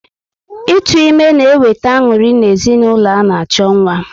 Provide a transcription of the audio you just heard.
Ịtụ ime na eweta anuri na ezinụlọ ana-acho nwa